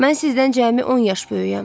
Mən sizdən cəmi 10 yaş böyüyəm.